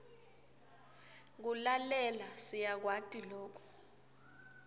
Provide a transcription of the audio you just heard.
kulalela siyakwati loku